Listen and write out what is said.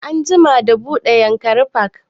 An jima da buɗe yankari park